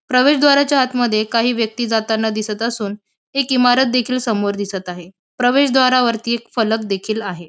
प्रवेशद्वाराच्या आत मध्ये काही व्यक्ती जाताना दिसत असून एक इमारत देखील समोर दिसत आहे. प्रवेशद्वारावरती एक फलक देखिल आहे.